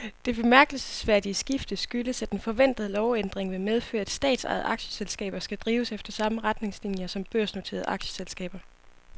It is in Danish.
Det bemærkelsesværdige skifte skyldes, at en forventet lovændring vil medføre, at statsejede aktieselskaber skal drives efter samme retningslinier som børsnoterede aktieselskaber.